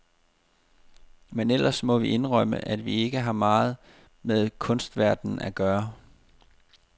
Men ellers må vi jo indrømme, at vi ikke har meget med kunstverdenen at gøre.